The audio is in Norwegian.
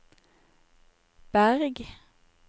Berg